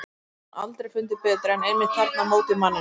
Það hefur hún aldrei fundið betur en einmitt þarna á móti manninum.